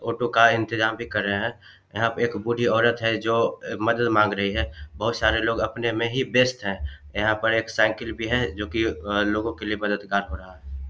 Auto का इंतजाम भी कर रहे है यहाँ पे एक बूढी औरत है जो मदद मांग रही है बहुत सारे लोग अपने में ही व्यस्त हैं यहां पर एक साइकिल भी है जो की लोगों के लिए मददगार हो रहा है।